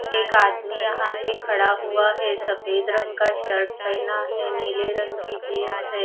एक आदमी यहां पे खड़ा हुआ है सफेद रंग का शर्ट पहना है नीले रंग की जीन्स हैं।